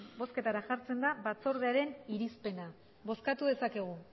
bozketara jartzen da batzordearen irizpena bozkatu dezakegu